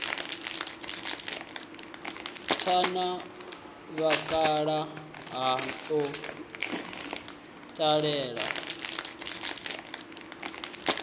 tha na vhakalaha u ṱalela